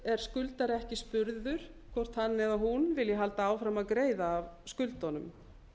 er skuldari ekki spurður hvort hann eða hún vilji halda áfram að greiða af skuldunum